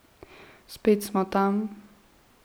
Spet smo tam.